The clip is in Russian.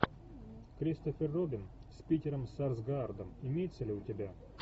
кристофер робин с питером сарсгаардом имеется ли у тебя